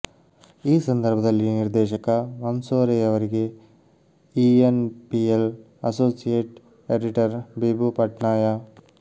ಈ ಸಂದರ್ಭದಲ್ಲಿ ನಿರ್ದೇಶಕ ಮಂಸೋರೆಯವರಿಗೆ E N P L associate editor Bibhu Patnaik